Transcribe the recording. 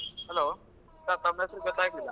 Hello sir ತಮ್ ಹೆಸ್ರು ಗೊತ್ತಾಗ್ಲಿಲ್ಲಾ.